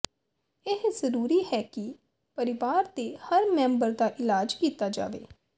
ਇਹ ਜ਼ਰੂਰੀ ਹੈ ਕਿ ਪਰਿਵਾਰ ਦੇ ਹਰ ਮੈਂਬਰ ਦਾ ਇਲਾਜ ਕੀਤਾ ਜਾਵੇ